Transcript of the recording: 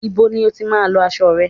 Ibo ni o tí má ń lọ aṣo rẹ?